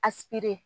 A